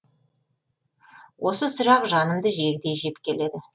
осы сұрақ жанымды жегідей жеп келеді